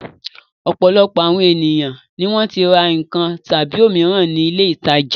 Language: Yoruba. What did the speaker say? Ọ̀pọ̀lọpọ̀ àwọn ènìyàn ni wọ́n ti ra nǹkan tàbí òmíràn ní ilé-ìtajà.